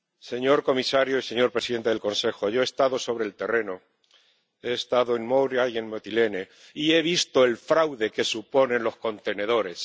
Señor comisario y señor presidente del Consejo yo he estado sobre el terreno, he estado en Moria y en Mitilene y he visto el fraude que suponen los contenedores.